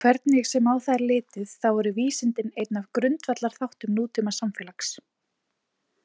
Hvernig sem á það er litið þá eru vísindi einn af grundvallarþáttum nútímasamfélags.